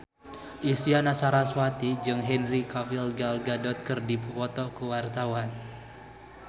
Isyana Sarasvati jeung Henry Cavill Gal Gadot keur dipoto ku wartawan